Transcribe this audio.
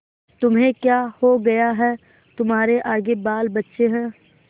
तुम्हें क्या हो गया है तुम्हारे आगे बालबच्चे हैं